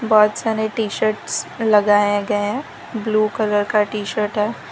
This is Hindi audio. बहोत सारे टी शर्टस लगाया गया है ब्ल्यू कलर का टी शर्ट है।